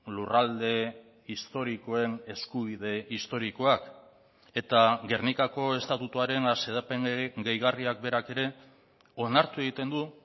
lurralde historikoen eskubide historikoak eta gernikako estatutuaren xedapen gehigarriak berak ere onartu egiten du